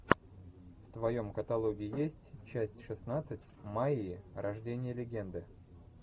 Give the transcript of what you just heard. в твоем каталоге есть часть шестнадцать майя рождение легенды